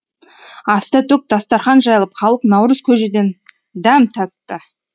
аста төк дастарқан жайылып халық наурыз көжеден дәм татты